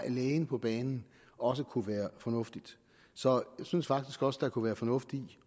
lægen på banen også kunne være fornuftigt så jeg synes faktisk også der kunne være fornuft i